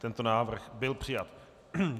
Tento návrh byl přijat.